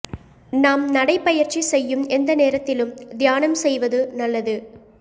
நாம் நடைபயிற்சி செய்யும் எந்த நேரத்திலும் தியானம் செய்வது நல்லது